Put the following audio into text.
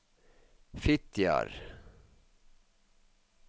Fitjar